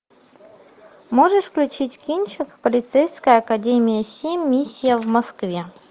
можешь включить кинчик полицейская академия семь миссия в москве